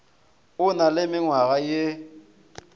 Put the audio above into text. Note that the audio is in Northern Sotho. o na le mengwa ye